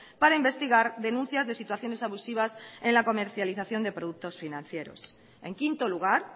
para investigar denuncias de situaciones abusivas en la comercialización de productos financieros en quinto lugar